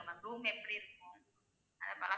Room எப்படி இருக்கும் அது பழக்கம்